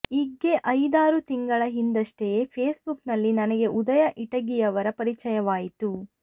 ಈಗ್ಗೆ ಐದಾರು ತಿಂಗಳ ಹಿಂದೆಯಷ್ಟೇ ಫೇಸ್ಬುಕ್ಕಲ್ಲಿ ನನಗೆ ಉದಯ ಇಟಗಿಯವರ ಪರಿಚಯವಾಯಿತು